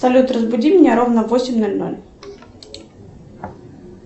салют разбуди меня ровно в восемь ноль ноль